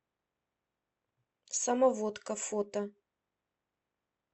самоводка фото